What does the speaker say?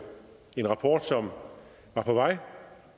en rapport som var på vej